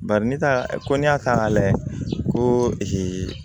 Bari ne ta ko n'i y'a ta k'a lajɛ ko